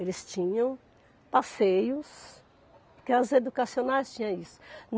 Eles tinham passeios, porque as educacionais tinham isso.